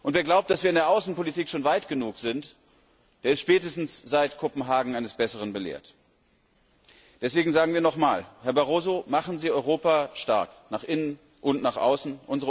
Wer glaubt, dass wir in der Außenpolitik schon weit genug sind, der ist spätestens seit Kopenhagen eines Besseren belehrt. Deswegen sagen wir noch einmal Herr Barroso, machen Sie Europa stark, nach innen und nach außen!